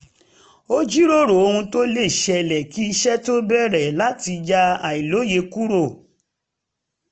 a jíròrò ohun tó lè ṣẹlẹ̀ kí iṣẹ́ tó bẹ̀rẹ̀ láti yá àìlòye kúrò